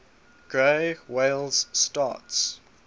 gray whales starts